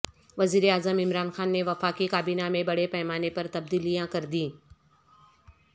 وزیر اعظم عمران خان نے وفاقی کابینہ میں بڑے پیمانے پر تبدیلیاں کر دیں